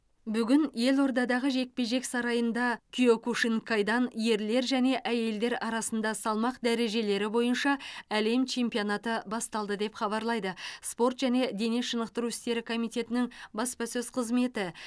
бүгін елордадағы жекпе жек сарайында киокушинкайдан ерлер және әйелдер арасында салмақ дәрежелері бойынша әлем чемпионаты басталды деп хабарлайды спорт және дене шынықтыру істері комитетінің баспасөз қызметі